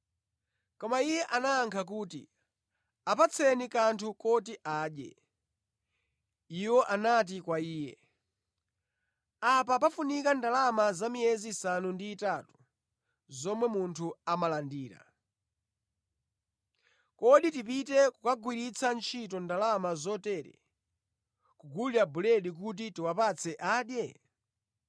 Koma Iye anayankha kuti, “Apatseni kanthu koti adye.” Iwo anati kwa Iye, “Apa pafunika ndalama za miyezi isanu ndi itatu zomwe munthu amalandira! Kodi tipite kukagwiritsa ntchito ndalama zotere kugulira buledi kuti tiwapatse adye?”